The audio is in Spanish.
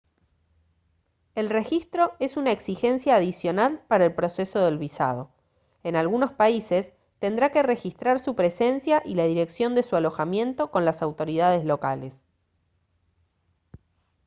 el registro es una exigencia adicional para el proceso del visado en algunos países tendrá que registrar su presencia y la dirección de su alojamiento con las autoridades locales